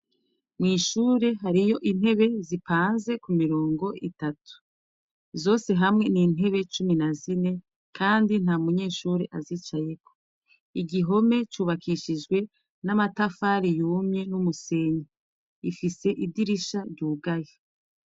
Mw'ishure hariyo intebe zipanze ku mirongo itatu. Zose hamwe ni intebe cumi na zine, kandi nta munyeshure azicayeko. Igihome cubakishijwe n'amatafari yumye n'umusenyi ifise idirisha ryugahe.